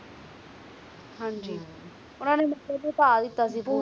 ਹਨ ਜੀ ਉਨ੍ਹਾਂ ਨੇ ਮਤਲਬ ਧ ਹੈ ਦਿੱਤਾ ਸੀ ਪੂਰਾ